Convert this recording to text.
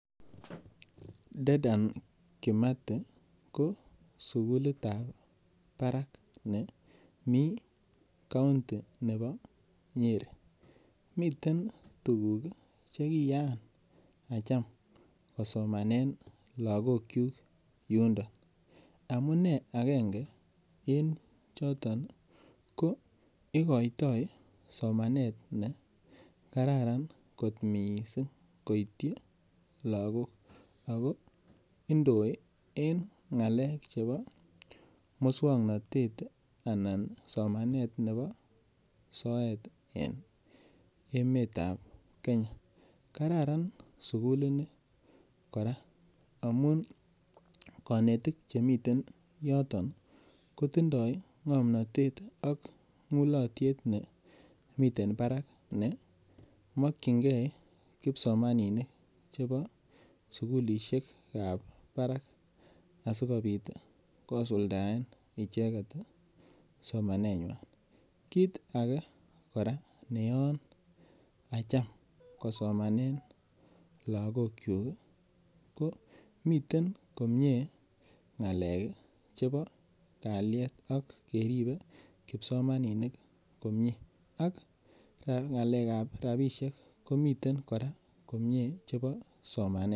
Dedan Kimathi ko sukulitab barak nemi county nebo Nyeri miten tuguk chekiyaa acham kosomanen lakokchu yundo amune agenge eng' choton ko ikoitoi somanet nekararan kot mising' koityi lakok ako indoi eng' ng'alek chebo mosong'natet anan somanet nebo soet eng' emetab Kenya kararan sukulini kora amun kanetik chemiten yoton kotindoi ng'omnoyetnak mulotyet ne miten barak nemokchingei kipsomaninik chebo sukulishiekab barak asikobit kosuldaen icheget somanenywai kiit age kora ne yoon acham kosamanee lagokchun ko mitei komyee ng'alek chebo kalyet ak ribei kipsomaninik komyee ak kora ng'alekab rapishek komitei komyee chebo somanet